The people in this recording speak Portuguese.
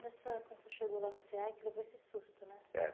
Nessa...Quando você chegou lá no cê a, que levou esse susto, né? é.